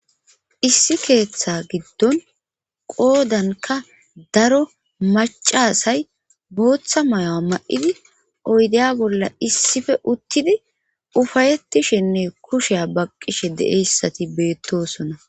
Issi keeththa giddon qoodanka daro macasay booththa mayo'a ma'idi oydeya bolla issife uttidi ufayettishenne kusheya baqqishe deeyssati beettosona.